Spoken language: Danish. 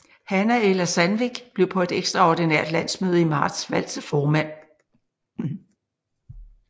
Hanna Ella Sandvik blev på et ekstraordinært landsmøde i marts valgt til formand